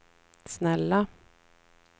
snälla